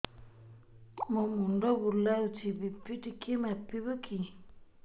ମୋ ମୁଣ୍ଡ ବୁଲାଉଛି ବି.ପି ଟିକିଏ ମାପିବ କି